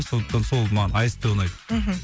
сондықтан сол маған аст ұнайды мхм